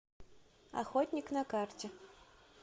охотник на карте